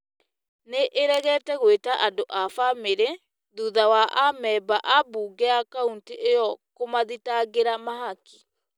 nĩ ĩregete gwĩta andũ a bamĩrĩ , thutha wa amemba a mbunge ya kauntĩ ĩyo kũmathitangĩra mahaki.